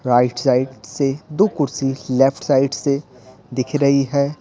Right side से दो कुर्सी लेफ्ट साइड से दिख रही है।